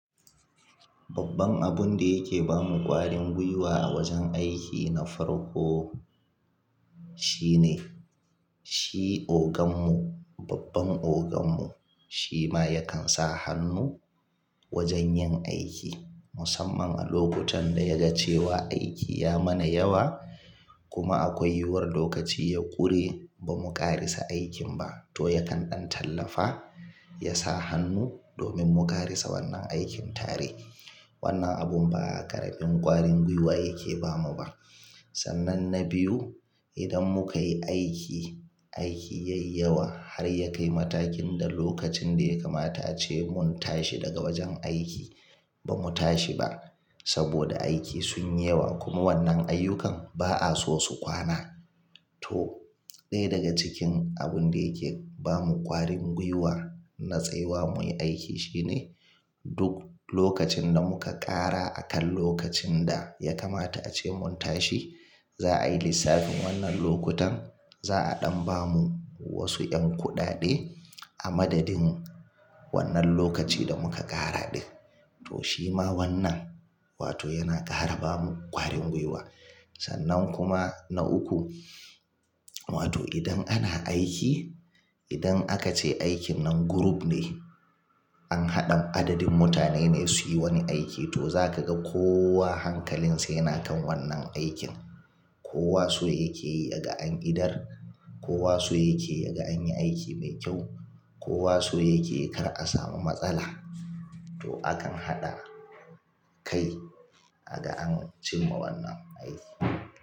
Babban abun da yake ba mu ƙwarin guiwa a wajen aiki na farko shine shi oganmu, babban oganmu shi ma yakan sa hannu wajen yin aiki musamman a lokutan da ya ga cewa aiki ya mana yawa kuma akwai yiwuwar lokaci ya ƙure ba mu ƙarasa aikin ba to yakan ɗan tallafa, ya sa hannu domin mu ƙarasa wannan aikin tare. Wannan abun ba ƙaramin ƙwarin guiwa yake ba mu ba. Sannan na biyu, idan muka yi aiki, aiki yayi yawa har ya kai matakin da lokacin da ya kamata ace mun tashi daga wajen aiki ba mu tashi ba saboda aiki sun yi yawa kuma wannan ayyukan ba a so su kwana to ɗaya daga cikin abun da yake ba mu ƙwarin guiwa na tsayuwa muyi aiki shine duk lokacin da muka ƙara a kan lokacin da ya kamata ace mun tashi za a yi lissafin wannan lokutan za a ɗan ba mu wasu 'yan kuɗaɗe a madadin wannan lokaci da muka ƙara ɗin. To shi ma wannan wato yana ƙara ba mu ƙwarin guiwa. Sannan kuma na uku, wato idan ana aiki, idan aka ce aikin nan group ne an haɗa adadin mutane ne suyi wani aiki to za ka ga kowa hankalinsa yana kan wannan aikin. Kowa so yake yi daga an iɗar, kowa so yake yi daga an yi aiki mai kyau, kowa so yake yi kar a samu matsala to akan haɗa kai aga an cimma wannan aiki.